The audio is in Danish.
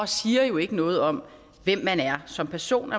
siger jo ikke noget om hvem man er som person